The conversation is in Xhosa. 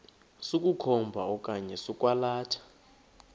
sokukhomba okanye sokwalatha